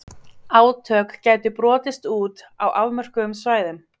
Átök gætu brotist út á afmörkuðum svæðum.